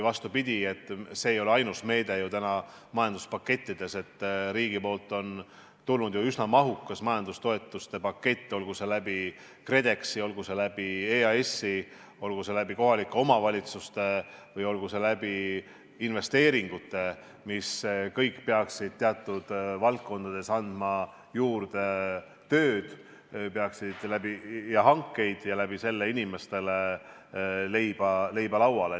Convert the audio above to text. See ei ole ju ainus meede majanduspakettides, riigilt on tulnud üsna mahukas majandustoetuste pakett, olgu see KredExi, olgu see EAS-i, olgu see kohalike omavalitsuste või olgu see investeeringute kaudu, mis kõik peaksid teatud valdkondades andma juurde tööd ja hankeid ja sellega inimestele leiba lauale.